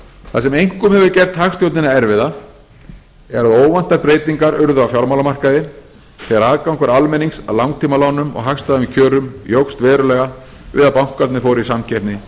það sem einkum hefur gert hagstjórnina erfiða er að óvæntar breytingar urðu á fjármálamarkaði þegar aðgangur almennings að langtímalánum á hagstæðum kjörum jókst verulega við að bankarnir fóru í samkeppni